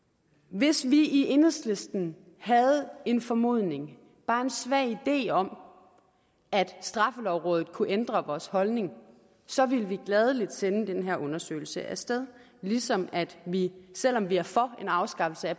hvis vi i enhedslisten havde en formodning bare en svag idé om at straffelovrådet kunne ændre vores holdning så ville vi gladelig sende den her undersøgelse af sted ligesom vi selv om vi er for en afskaffelse af